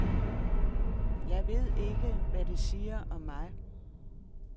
Jeg ved ikke, hvad det siger om mig.